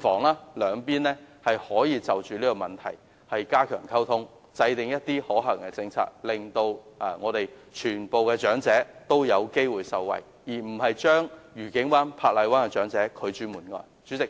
房屋局可以就這問題加強溝通，制訂可行的政策，令所有長者均有機會受惠，而不是將愉景灣和珀麗灣的長者拒諸門外。